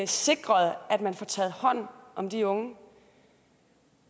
sikret at man får taget hånd om de unge